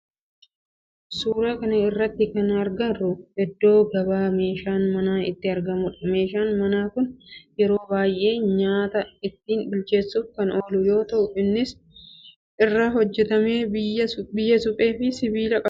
Suuraa kana irratti kana agarru iddoo gabaa meeshaan manaa itti aragmudha. Meeshaan manaa kun yeroo baayyee nyaata ittin bilcheessuf kan oolu yoo ta'u kan inni irraa hojjetame biyyee suphee fi sibiila irraati.